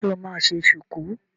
Ṣe o máa ṣe ṣùkú?